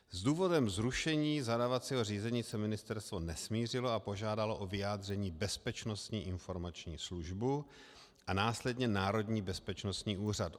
S důvodem zrušení zadávacího řízení se ministerstvo nesmířilo a požádalo o vyjádření Bezpečnostní informační službu a následně Národní bezpečnostní úřad.